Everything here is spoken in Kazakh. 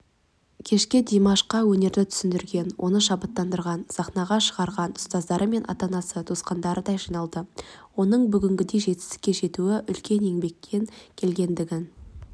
кешке димашқа өнерді түсіндірген оны шабыттандырған сахнаға шығарған ұстаздары мен ата-анасы туысқандары да жиналды оның бүгінгідей жетістікке жетуі үлкен еңбекпен келгендігін